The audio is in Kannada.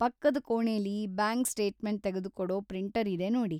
ಪಕ್ಕದ ಕೋಣೆಲಿ ಬ್ಯಾಂಕ್‌ ಸ್ಟೇಟ್‌ಮೆಂಟ್‌ ತೆಗೆದುಕೊಡೋ ಪ್ರಿಂಟರ್‌ ಇದೆ ನೋಡಿ.